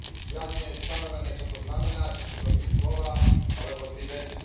Žiaľ, nie je stanovené, čo to znamená či sú to tri slová alebo tri vety.